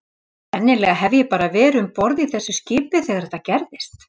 Sennilega hef ég bara verið um borð í þessu skipi þegar þetta gerðist.